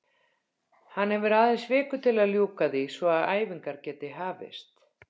Hann hefur aðeins viku til að ljúka því svo að æfingar geti hafist.